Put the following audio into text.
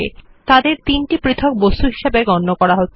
তাদের তিনটি পৃথক বস্তু হিসাবে গণ্য করা হচ্ছে